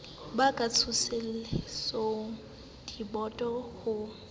ba ka tsosolosang diboto ho